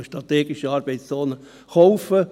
Ich spreche jetzt von strategischen Arbeitszonen.